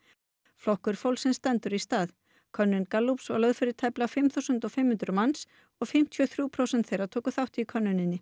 flokkur fólksins stendur í stað könnun Gallups var lögð fyrir tæplega fimm þúsund og fimm hundruð manns og fimmtíu og þrjú prósent þeirra tóku þátt í könnuninni